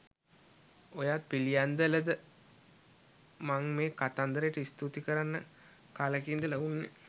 ඔයත් පිළියන්දලද මන් මේ කතන්දරට ස්තුති කරන්න කලෙක ඉඳල උන්නේ.